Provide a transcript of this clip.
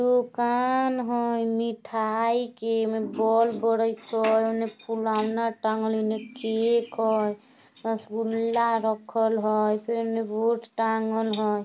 दुकान हइ मिठाई के एमे बॉल बरत होय ओने फुलोना टाँगल एने केक होय रसोगुल्ला रखल हइ फेर ओने बोर्ड टाँगल होय|